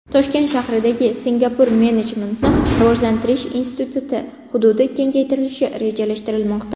Toshkent shahridagi Singapur Menejmentni rivojlantirish instituti hududi kengaytirilishi rejalashtirilmoqda.